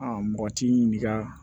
mɔgɔ ti ɲininka